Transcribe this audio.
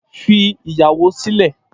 Fi ìyàwó sílẹ̀